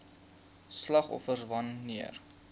slagoffers wan neer